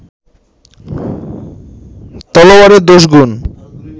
তলোয়ারের দোষ-গুণ